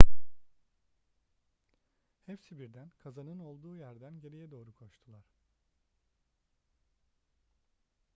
hepsi birden kazanın olduğu yerden geriye doğru koştular